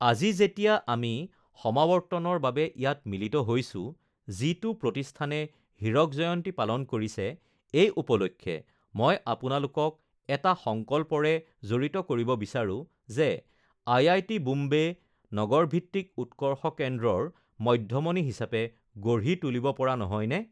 আজি যেতিয়া আমি সমাৱৰ্তনৰ বাবে ইয়াত মিলিত হৈছো, যিটো প্ৰতিষ্ঠানে হীৰক জয়ন্তী পালন কৰিছে, এই উপলক্ষে মই আপোনালোকক এটা সংকল্পৰে জড়িত কৰিব বিচাৰো যে আইআইটি বোম্বে নগৰভিত্তিক উৎকৰ্ষ কেন্দ্ৰৰ মধ্যমনি হিচাপে গঢ়ি তুলিব পৰা নহয়নে?